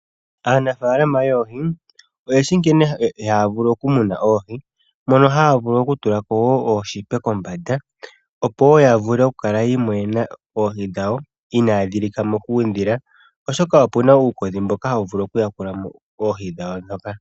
Aanafalama yoohi oyeshi nkene haya vulu okumuna oohi mono haya vulu oku tula ko ooshipe kombanda, opo wo ya vule oku kala yiimonena oohi dhawo inaadhi lika mo kuudhila, oshoka opuna uukodhi mboka hawu vulu oku ya kula mo oohi dhawo ndhoka.